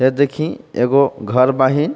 ये देखी एगो घर बाहि.